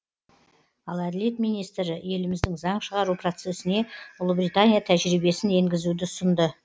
ал әділет министрі еліміздің заң шығару процесіне ұлыбритания тәжірибесін енгізуді ұсынды